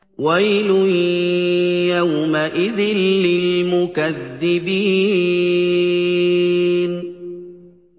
وَيْلٌ يَوْمَئِذٍ لِّلْمُكَذِّبِينَ